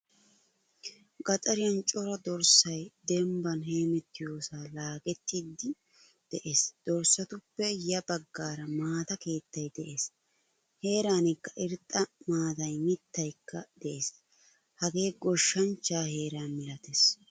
Gaxariyan cora dorssay dembban heemettiyosa laagettiidi de'ees. Dorssatuppe ya baggaara maata keettay de'ees. Heeranikka irxxa maatay miittaykka de'ees. Hagee goshshanchcha heeraa malattees.